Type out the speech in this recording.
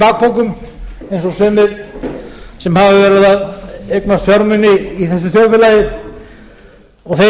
bakpokum eins og sumir sem hafa gerð að eignast fjármuni í þessu þjóðfélagi þeir geta ekki keypt